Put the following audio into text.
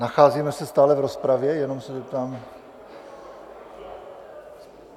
Nacházíme se stále v rozpravě, jenom se zeptám?